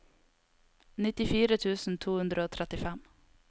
nittifire tusen to hundre og trettifem